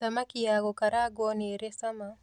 Thamaki ya gũkarangwo nĩrĩ cama